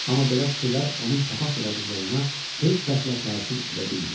Amma belə fikirlər onun papaq yaradıcılığına heç vəclə təsir edə bilmirdi.